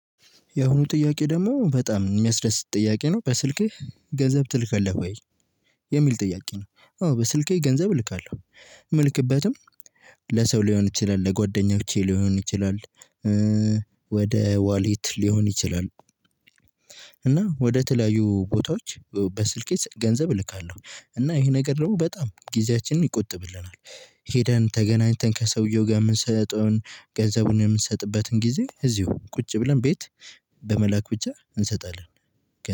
የአሁኑ ጥያቄ ደግሞ በጣም የሚያስደስት ጥያቄ ነው በስልክህ ገንዘብ ትልካለህ ወይ? የሚል ጥያቄ ነው አዎ በስልኬ ገንዘብ እልካለሁ የምልክበትም ለሰው ሊሆን ይችላል ለጓደኞቼ ሊሆን ይችላል ወደ ዋሌት ሊሆን ይችላል። እና ወደ ተለያዩ ቦታዎች በስልኬ ገንዘብ እልካለሁ እና ይሄ ነገር ደግሞ በጣም ጊዜያችንን ይቆጥብልናል ሄደን ተገናኝተን ከሰውየው ጋር የምንሰጠውን ገንዘቡን የምንሰጥበትን ጊዜ እዚሁ ቁጭ ብለን ቤት በመላክ ብቻ እንሰጣለን።